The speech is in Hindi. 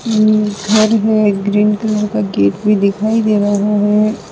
ये घर है ग्रीन कलर का गेट भी दिखाई दे रहा है।